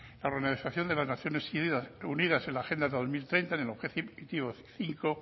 la organización de las naciones unidas en la agenda dos mil treinta en el objetivo cinco